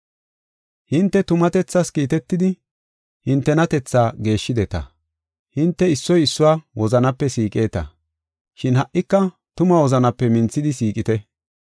Hinte tumatethaas kiitetidi hintenatethaa geeshshideta. Hinte issoy issuwa wozanape siiqeta, shin ha77ika tuma wozanape minthidi siiqite.